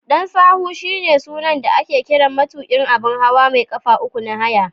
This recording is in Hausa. Dan sahu shine sunan da ake kiran matuƙin abun hawa mai ƙafa uku na haya.